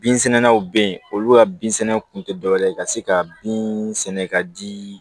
Binsɛnɛlaw bɛ yen olu ka binsɛnɛw kun tɛ dɔwɛrɛ ye ka se ka bin sɛnɛ ka di